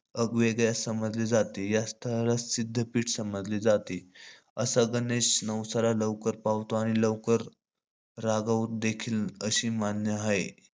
अगवेगळ्या समजले जाते. या स्थळाला सिध्दपिठ समजले जाते. असा गणेश नवसाला लवकर पावतो. आणि लवकर रागव देखील अशी मान्य आहे.